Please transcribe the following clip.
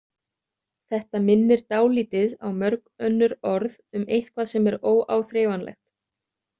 Þetta minnir dálítið á mörg önnur orð um eitthvað sem er óáþreifanlegt.